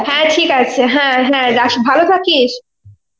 হ্যাঁ ঠিক আছে, হ্যাঁ হ্যাঁ রাখি, ভালো থাকিস.